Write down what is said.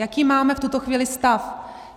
Jaký máme v tuto chvíli stav?